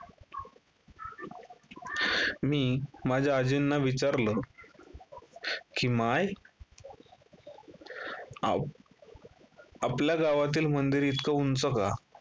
मी माझ्या आजींना विचारलं, की माय, आ~ आपल्या गावातील मंदिर इतकं उंच का?